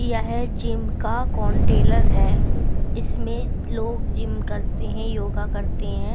यह जिम का कॉनटेलर है इसमें लोग जिम करते हैं योगा करते हैं।